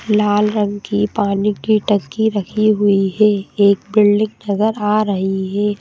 लाल रंग की पानी की टंकी रखी हुई है एक बिल्डिंग नजर आ रही है।